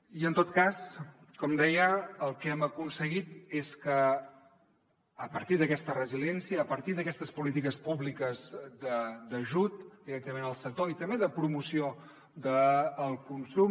i en tot cas com deia el que hem aconseguit és que a partir d’aquesta resiliència a partir d’aquestes polítiques públiques d’ajut directament al sector i també de promoció del consum